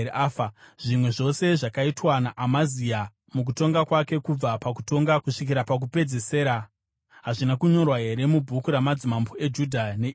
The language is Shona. Zvimwe zvose zvakaitwa naAmazia mukutonga kwake kubva pakutonga kusvikira pakupedzisira hazvina kunyorwa here mubhuku ramadzimambo eJudha neIsraeri?